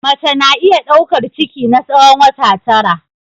Mace na iya daukar ciki na tsawon wata tara.